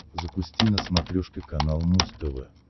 запусти на смотрешке канал муз тв